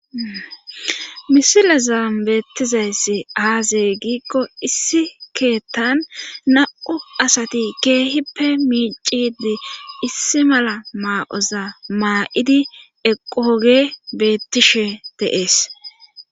misilazaam beettizayssi aaze giikko issi keettan na7u asati keehippe miicidi issi mala maa7oza maa7idi eqqooge bettishe teees